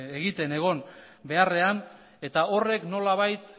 egiten egon beharrean eta horrek nolabait